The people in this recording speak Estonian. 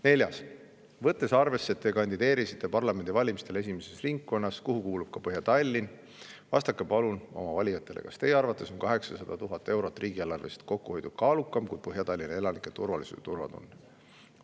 Neljas küsimus: "Võttes arvesse, et Te kandideerisite parlamendivalimistel esimeses ringkonnas, kuhu kuulub ka Põhja-Tallinn, vastake palun oma valijatele – kas Teie arvates on 800 000 eurot riigieelarvelist kokkuhoidu kaalukam kui Põhja-Tallinna elanike turvalisus ja turvatunne?